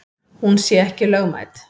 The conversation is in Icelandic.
Hún sé ekki lögmæt.